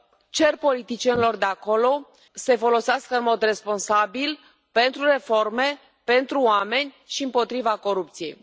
Cer politicienilor de acolo să îi folosească în mod responsabil pentru reforme, pentru oameni și împotriva corupției.